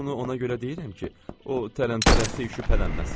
Bunu ona görə deyirəm ki, o tərəmtərəssiz şübhələnməsin.